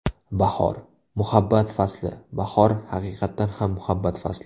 Bahor – muhabbat fasli Bahor haqiqatan ham muhabbat fasli.